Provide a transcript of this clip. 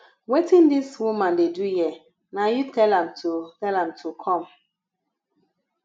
wetin dis woman dey do here na you tell am to tell am to come